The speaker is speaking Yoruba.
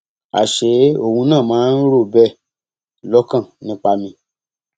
àṣé òun náà máa ń rò ó bẹẹ lọkàn nípa mi